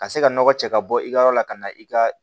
Ka se ka nɔgɔ cɛ ka bɔ i ka yɔrɔ la ka na i ka